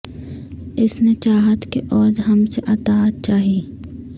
اس نے چاہت کے عوض ہم سے اطاعت چاہی